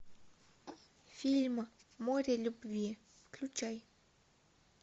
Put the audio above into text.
фильм море любви включай